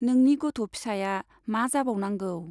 नोंनि गथ' फिसाया मा जाबावनांगौ ?